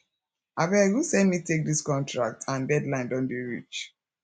abeg who send me take dis contract and deadline don dey reach